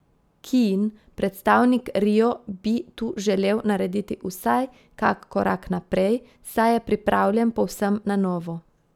Kiin predstavnik rio bi tu želel narediti vsaj kak korak naprej, saj je pripravljen povsem na novo.